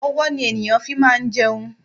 Ọwọ́ ni ènìyàn fi máa ń jẹun.